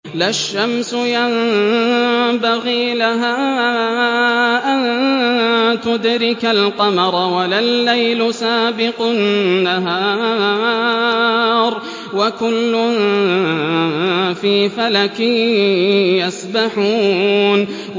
لَا الشَّمْسُ يَنبَغِي لَهَا أَن تُدْرِكَ الْقَمَرَ وَلَا اللَّيْلُ سَابِقُ النَّهَارِ ۚ وَكُلٌّ فِي فَلَكٍ يَسْبَحُونَ